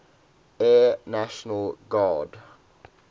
air national guard